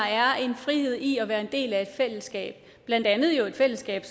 er en frihed i at være en del af et fællesskab blandt andet et fællesskab